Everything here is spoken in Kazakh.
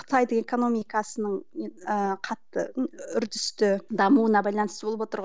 қытайдың экономикасының ыыы қатты ы үрдісті дамуына байланысты болып отыр ғой